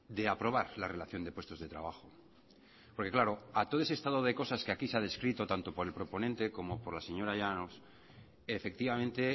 de aprobar la relación de puestos de trabajo porque claro a todo ese estado de cosas que aquí se ha descrito tanto por el proponente como por la señora llanos efectivamente